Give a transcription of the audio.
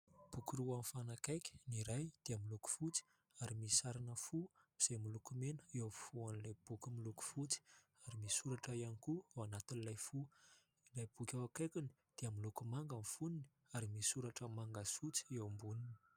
Boky roa mifanakaiky, ny iray dia miloko fotsy ary misy sarina fo izay miloko mena eo afovoan'ilay boky miloko fotsy ary misy soratra ihany koa ao anatin'ilay fo; ilay boky eo akaikiny dia miloko manga ny fonony ary misy soratra manga sy fotsy eo amboniny.